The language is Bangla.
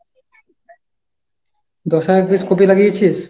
দশ হাজার piece কপি লাগিয়েছিস?